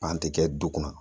Pan te kɛ du kunna.